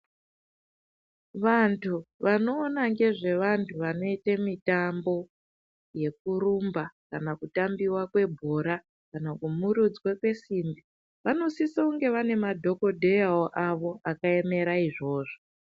Vantu vanoona ngezve vantu vanoite mitambo yekurumba kana kutambiwakwebhora kana kumurudzwe kwesimbi, vanosisa kunge vane madhogodheya avo akaemera izvozvo.